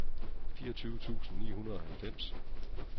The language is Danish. fireogtyve tusind ni hundrede og halvfems